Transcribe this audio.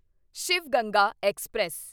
Shiv Ganga express